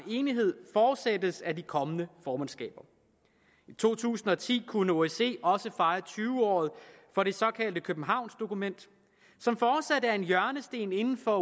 enighed fortsættes af de kommende formandskaber i to tusind og ti kunne osce også fejre tyve året for det såkaldte københavnsdokument som fortsat er en hjørnesten inden for